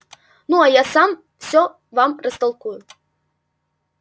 ну а я сам всё вам растолкую